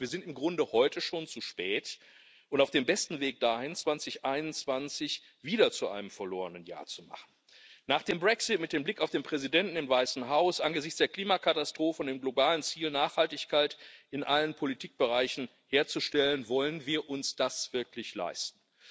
Das heißt, wir sind im Grunde heute schon zu spät dran und auf dem besten Weg dahin, 2021 wieder zu einem verlorenen Jahr zu machen. Nach dem Brexit, mit dem Blick auf den Präsidenten im Weißen Haus, angesichts der Klimakatastrophe und dem globalen Ziel, Nachhaltigkeit in allen Politikbereichen herzustellen Wollen wir uns das wirklich leisten?